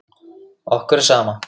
Okkur er sama.